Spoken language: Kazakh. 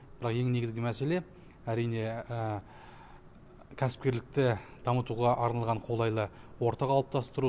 бірақ ең негізі мәселе әрине кәсіпкерлікті дамытуға арналған қолайлы орта қалыптастыру